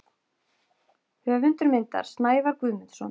Höfundur myndar: Snævar Guðmundsson.